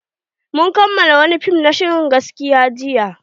Mun kalla wani fim na shirin gaskiya jiya.